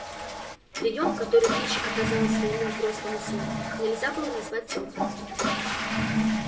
приём который кич оказала своему взрослому сыну нельзя было назвать тёплым